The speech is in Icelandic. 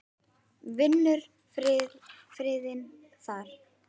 Finnur friðinn þar.